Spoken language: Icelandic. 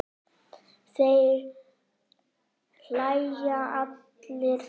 Þeir hlæja allir þrír.